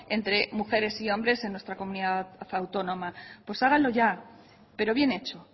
entre mujeres y hombres en nuestra comunidad autónoma pues háganlo ya pero bien hecho